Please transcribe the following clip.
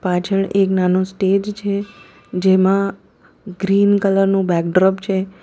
પાછળ એક નાનું સ્ટેજ છે જેમાં ગ્રીન કલર નું બેક ડ્રોપ છે.